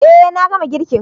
Eh na gama girkin.